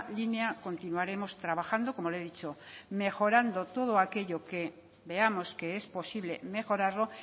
línea continuaremos trabajando como le he dicho mejorando todo aquello que veamos que es posible mejorarlo